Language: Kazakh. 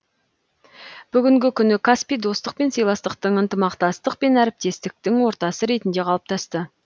бүгінгі күні каспий достық пен сыйластықтың ынтымақтастық пен әріптестіктің ортасы ретінде қалыптасты